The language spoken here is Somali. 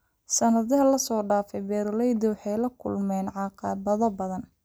Sannadihii la soo dhaafay, beeralaydu waxay la kulmeen caqabado badan.